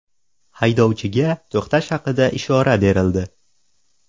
Haydovchiga to‘xtash haqida ishora berildi.